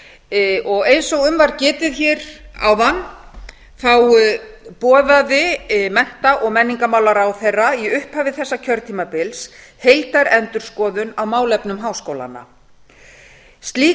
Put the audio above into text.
eins og um var getið hér áðan boðaði mennta og menningarmálaráðherra í upphafi þessa kjörtímabils heildarendurskoðun á málefnum háskólanna slík